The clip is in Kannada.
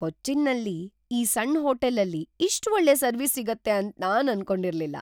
ಕೊಚ್ಚಿನ್ನಲ್ಲಿ ಈ ಸಣ್ ಹೋಟೆಲಲ್ಲಿ ಇಷ್ಟ್ ಒಳ್ಳೆ ಸರ್ವಿಸ್ ಸಿಗುತ್ತೆ ಅಂತ್ ನಾನ್ ಅನ್ಕೊಂಡಿರ್ಲಿಲ್ಲ!